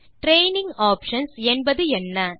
training options என்பதென்ன160